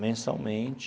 Mensalmente.